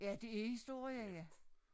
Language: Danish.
Ja det er historie ja